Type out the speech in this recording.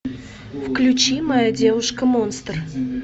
включи моя девушка монстр